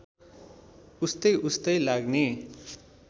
उस्तै उस्तै लाग्ने